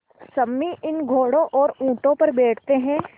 सम्मी इन घोड़ों और ऊँटों पर बैठते हैं